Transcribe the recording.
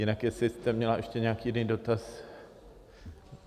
Jinak jestli jste měla ještě nějaký jiný dotaz...